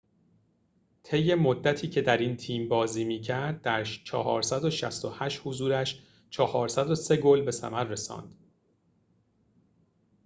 طی مدتی که در این تیم بازی می‌کرد در ۴۶۸ حضورش ۴۰۳ گل به ثمر رساند